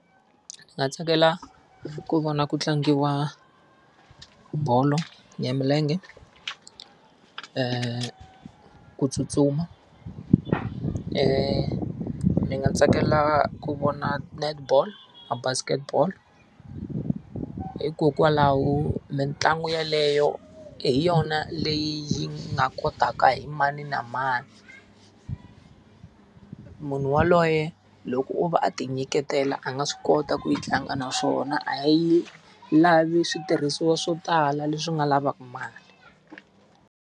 Ndzi nga tsakela ku vona ku tlangiwa bolo ya milenge, ku tsutsuma ndzi nga tsakela ku vona netball na basketball. Hikokwalaho mitlangu yeleyo hi yona leyi yi nga kotaka hi mani na mani. Munhu yaloye loko o va a tinyiketela a nga swi kota ku yi tlanga naswona a yi lavi switirhisiwa swo tala leswi nga lavaka mali.